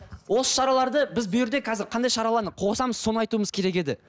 осы шараларды біз қазір қандай шараларды қосамыз соны айтуымыз керек еді